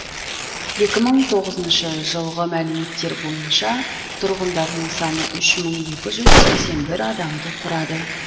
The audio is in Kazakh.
екі мың тоғызыншы жылғы мәліметтер бойынша тұрғындарының саны үш мың екі жүз сексен бір адамды құрады